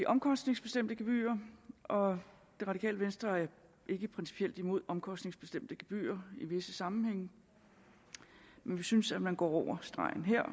omkostningsbestemte gebyrer og det radikale venstre er ikke principielt imod omkostningsbestemte gebyrer i visse sammenhænge men vi synes man går over stregen her og